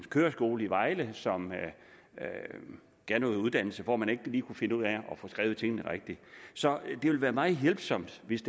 køreskole i vejle som gav noget uddannelse og hvor man ikke lige kunne finde ud af at få skrevet tingene rigtigt så det vil være meget hjælpsomt hvis